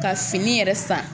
Ka fini yɛrɛ san